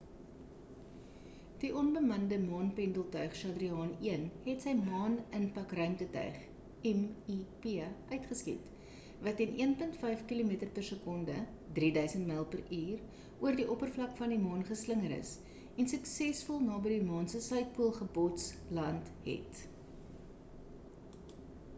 die onbemande maan-pendeltuig chadrayaan-1 het sy maan impak ruimtetuig mip uitgeskiet wat teen 1.5 kilometer per sekonde 3 000 myl per uur oor die oppervlak van die maan geslinger is en suksesvol naby die maan se suidpool gebots-land het